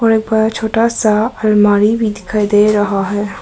छोटा सा अलमारी भी दिखाई दे रहा है।